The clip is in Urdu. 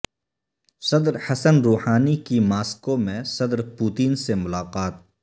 صدر حسن روحانی کی ماسکو میں صدر پوتین سے ملاقات